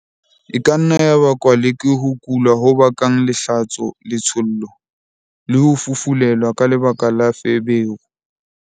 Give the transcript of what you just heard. E ka nna ya bakwa le ke ho kula ho bakang lehlatso-letshollo, le ho fufulelwa ka lebaka la feberu.